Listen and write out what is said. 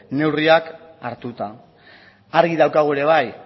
neurriak hartuta argi daukagu ere bai